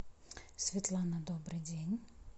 светлана добрый день